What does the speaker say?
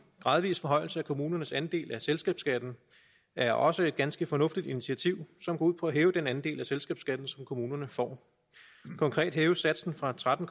gradvis forhøjelse af kommunernes andel af selskabsskatten er også et ganske fornuftigt initiativ som går ud på at hæve den andel af selskabsskatten som kommunerne får konkret hæves satsen fra tretten